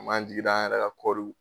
An m'an jigi da an yɛrɛ ka kɔriw